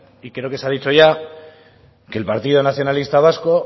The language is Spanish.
y creo que se ha dicho ya que el partido nacionalista vasco